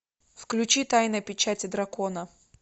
включи тайна печати дракона